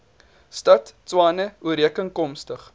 stad tshwane ooreenkomstig